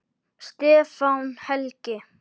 Stefán Helgi.